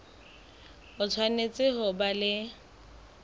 o tshwanetse ho ba le